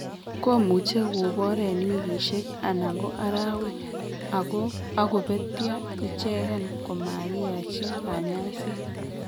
komuche kobur en wikisiek anan ko araweg ako betyo ichegen komakiyachi kanyaiset